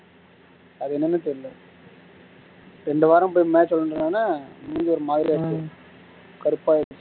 அது என்னனே தெரியல ரெண்டு வாரம் போயி match விளையாண்டதுனால மூஞ்சி ஒரு மாதிரியா போச்சு கருப்பாகிருச்சு